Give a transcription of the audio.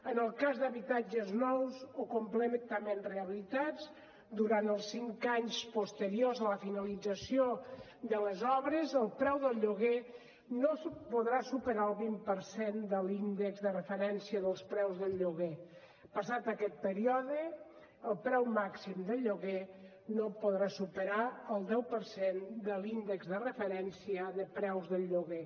en el cas d’habitatges nous o completament rehabilitats durant els cinc anys posteriors a la finalització de les obres el preu del lloguer no podrà superar el vint per cent de l’índex de referència dels preus del lloguer passat aquest període el preu màxim del lloguer no podrà superar el deu per cent de l’índex de referència de preus del lloguer